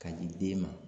K'a di den ma